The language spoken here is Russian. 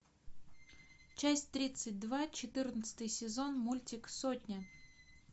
часть тридцать два четырнадцатый сезон мультик сотня